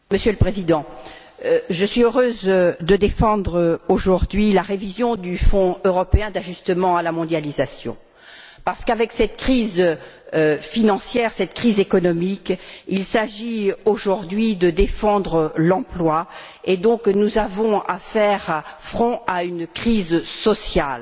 Monsieur le Président, je suis heureuse de défendre aujourd'hui la révision du Fonds européen d'ajustement à la mondialisation parce qu'avec cette crise financière, cette crise économique, il s'agit aujourd'hui de défendre l'emploi, et nous avons donc à faire front à une crise sociale.